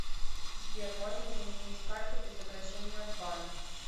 сбер можно заменить карту без обращения в банк